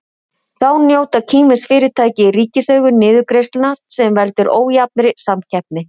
Þá njóta kínversk fyrirtæki í ríkiseigu niðurgreiðslna sem veldur ójafnri samkeppni.